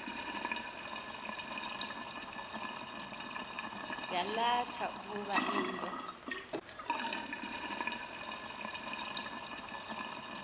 yalatha ukuba into